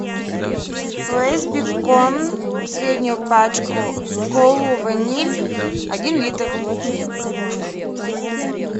лейс бекон среднюю пачку колу ваниль один литр